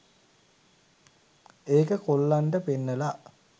ඒක කොල්ලන්ට පෙන්නලා